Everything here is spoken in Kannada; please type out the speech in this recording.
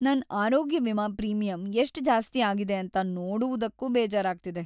ನನ್ ಆರೋಗ್ಯ ವಿಮಾ ಪ್ರೀಮಿಯಂ ಎಷ್ಟ್ ಜಾಸ್ತಿ ಆಗಿದೆ ಅಂತ ನೋಡುವುದಕ್ಕೂ ಬೇಜಾರಾಗ್ತಿದೆ.